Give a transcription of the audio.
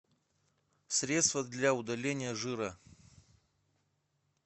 средство для удаления жира